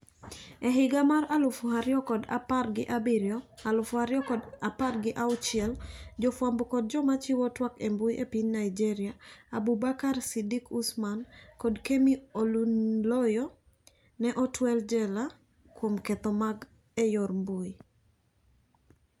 E higa mar Alufu ariyo kod apar kod abiriyo Alufu ariyo kod apar kod auchiel , jofwambo kod joma chiwo twak embui epiny Nigeria Abubakar Sidiq Usman kod Kemi olunloyo ne otwel jela kuom ketho mag eyor mbui.